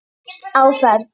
Á ferð